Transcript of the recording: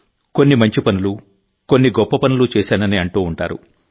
కొన్ని మంచి పనులు కొన్ని గొప్ప పనులు చేశానని అంటూ ఉంటారు